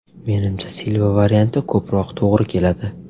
Menimcha, Silva varianti ko‘proq to‘g‘ri keladi.